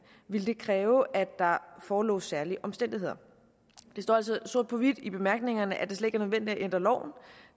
ville det kræve at der forelå særlige omstændigheder der står altså sort på hvidt i bemærkningerne at det slet ikke er nødvendigt at ændre loven